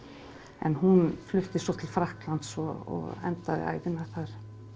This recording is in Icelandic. en hún flutti svo til Frakklands og endaði ævina þar